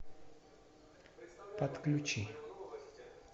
подключи